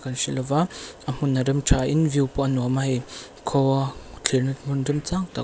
ka hre lova a hmun a rem tha in view pawh a nuam a hei kaw thlirna hmun remchang tak--